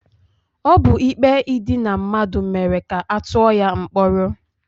Ọ bụ ikpe idina mmadụ mere ka ọ tụọ ya mkpọrọ.